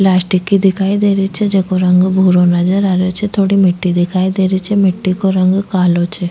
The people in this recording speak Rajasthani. पलास्टिक की दिखाई दे रही छे जेको रंग भूरो नजर आ रहे छे थोडी मिट्टी दिखाई दे रही छे मिट्टी को रंग कालो छ।